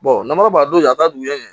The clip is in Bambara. n'a ma don yan a taa dugu jɛ